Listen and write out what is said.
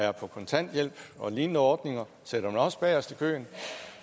er på kontanthjælp og lignende ordninger sætter man også bagest i køen